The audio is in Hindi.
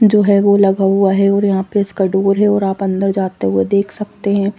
जो है वो लगा हुआ है और यहाँ पे इसका डोर है और आप अंदर जाते हुए देख सकते है।